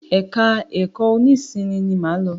Ẹ̀ka ẹ̀kọ́ nọ́sìnnì lo máa lọ.